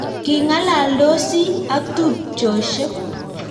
King'alandosi ak tupcheshek